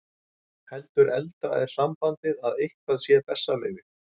Heldur eldra er sambandið að eitthvað sé bessaleyfi.